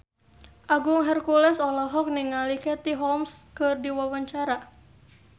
Agung Hercules olohok ningali Katie Holmes keur diwawancara